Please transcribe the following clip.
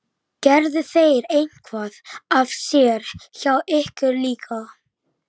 Okkar segi ég afþvíað hver mín stund er þín.